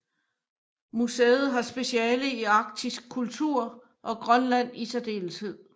Museet har speciale i arktisk kultur og Grønland i særdeleshed